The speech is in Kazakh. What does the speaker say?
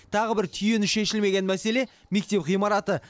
тағы бір түйіні шешілмеген мәселе мектеп ғимараты